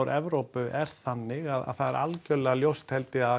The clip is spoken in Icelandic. Evrópu er þannig að það er algjörlega ljóst held ég að